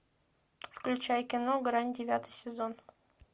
включай кино грань девятый сезон